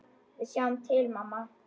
Við sjáum til, mamma.